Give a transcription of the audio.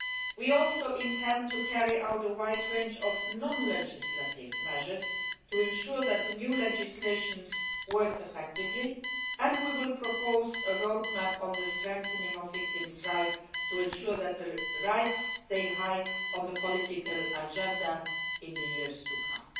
We also intend to introduce a wide range of non legislative measures to ensure that the new legislation works effectively, and we will propose a road map on the strengthening of victims' rights to ensure that these rights remain high on the political agenda in the years to come.